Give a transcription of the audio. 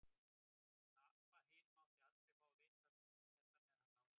Hún Abba hin mátti aldrei fá að vita þetta með hann Lása.